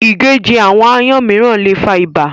Ìgéjẹ àwọn aáyán mìíràn le fa ibà.